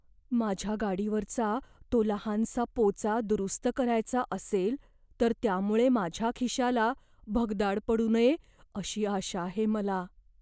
माझ्या गाडीवरचा तो लहानसा पोचा दुरुस्त करायचा असेल तर त्यामुळे माझ्या खिशाला भगदाड पडू नये अशी आशा आहे मला.